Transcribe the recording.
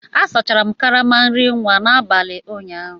Asachara m karama nri nwa n'abalị ụnyaahụ